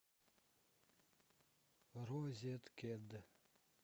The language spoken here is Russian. розеткед